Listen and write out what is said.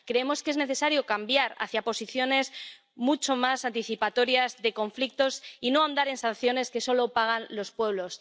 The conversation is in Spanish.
Creemos que es necesario cambiar hacia posiciones mucho más anticipatorias de los conflictos y no ahondar en sanciones que solo pagan los pueblos.